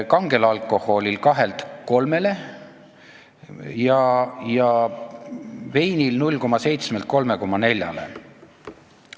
... kangel alkoholil 2-lt 3-le ja veinil 0,7-lt 3,4-le.